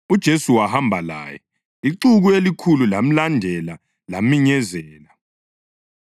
UJesu wahamba laye. Ixuku elikhulu lamlandela laminyezela.